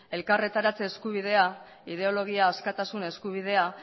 elkartaratze eskubidea ideologia askatasun eskubidea